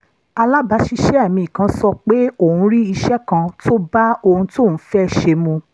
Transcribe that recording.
alabasise mi kan sope oun ri ise kan to ba ohun toun fe se mu